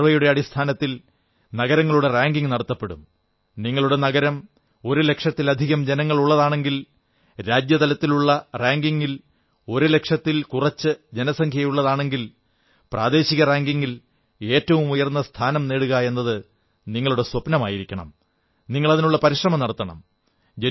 ഈ സർവ്വേയുടെ അടിസ്ഥാനത്തിൽ നഗരങ്ങളുടെ റാങ്കിംഗ് നടത്തപ്പെടും നിങ്ങളുടെ നഗരം ഒരുലക്ഷത്തിലധികം ജനങ്ങളുള്ളതാണെങ്കിൽ രാജ്യതലത്തിലുള്ള റാങ്കിംഗിൽ ഒരു ലക്ഷത്തിൽ കുറച്ച് ജനസംഖ്യയുള്ളതാണെങ്കിൽ പ്രാദേശിക റാങ്കിംഗിൽ ഏറ്റവും ഉയർന്ന സ്ഥാനം നേടുക എന്നത് നിങ്ങളുടെ സ്വപ്നമായിരിക്കണം നിങ്ങൾ അതിനുള്ള പരിശ്രമം നടത്തണം